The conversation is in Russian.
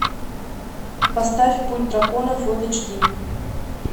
поставь путь дракона фулл эйч ди